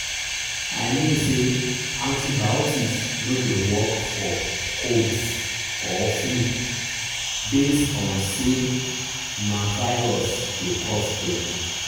i mean say antibiotics no dey work for colds or flu base on say na virus dey cause dem.